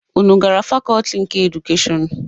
Unu gara fakọọti nke edukeshọn?